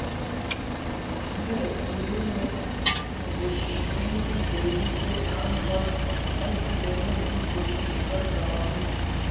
Kashmir assembly میں ویشنو دیوی کے نام پر حلف لینے کی کوشش پر تنازعہ